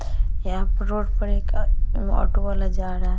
यहाँ पर रोड पर एक ऑटो वाला जा रहा है।